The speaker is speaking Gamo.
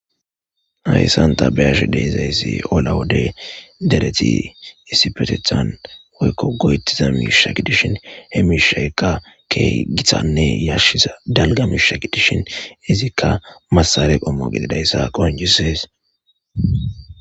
hayssanta bayash de'izayssi ola wode dereti issipetethan woykko goyettiza miishakidishin hemisheeka ke githanne yashshiza dalga miishakidishin izikka massale qommo gididayssa qoncisees